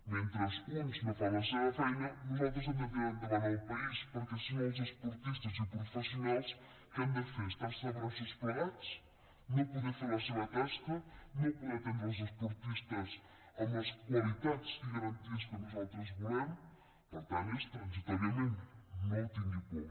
mentre uns no fan la seva feina nosaltres hem de tirar endavant el país perquè si no els esportistes i professionals què han de fer estar se de braços plegats no poder fer la seva tasca no poder atendre els esportistes amb les qualitats i garanties que nosaltres volem per tant és transitòriament no tingui por